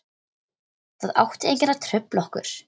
Það átti enginn að trufla okkur.